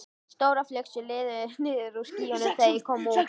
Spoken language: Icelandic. Stórar flygsur liðuðust niður úr skýjunum þegar ég kom út.